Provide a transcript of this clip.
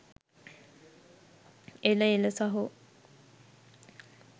එල එල සහෝ